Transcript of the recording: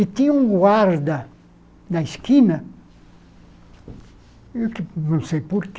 E tinha um guarda na esquina, que não sei por quê,